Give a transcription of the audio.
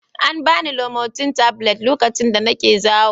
An ba ni limotil tablet lokacin da nake zawo